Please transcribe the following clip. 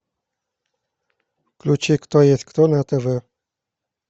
включи кто есть кто на тв